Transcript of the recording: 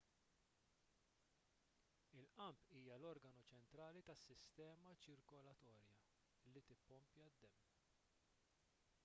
il-qalb hija l-organu ċentrali tas-sistema ċirkolatorja li tippompja d-demm